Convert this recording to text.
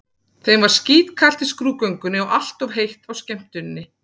Þeim var skítkalt í skrúðgöngunni og allt of heitt á skemmtuninni.